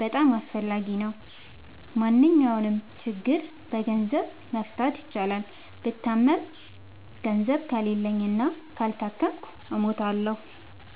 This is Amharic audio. በጣም አስፈላጊ ነው። ማንኛውንም ችግር በገንዘብ መፍታት ይቻላል። ብታመም ገንዘብ ከሌለኝ እና ካልታከምኩ እሞታሁ።